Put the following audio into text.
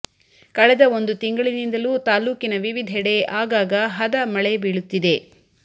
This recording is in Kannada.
ಕಳೆದ ಒಂದು ತಿಂಗಳಿನಿಂದಲೂ ತಾಲ್ಲೂಕಿನ ವಿವಿಧೆಡೆ ಆಗಾಗ ಹದ ಮಳೆ ಬೀಳುತ್ತಿದೆ